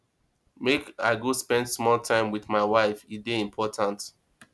make i go spend small time wit my wife e dey important